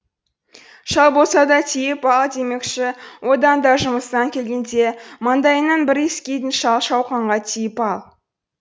шал болса да тиіп ал демекші одан да жұмыстан келгенде маңдайыңнан бір иіскейтін шал шауқанға тиіп ал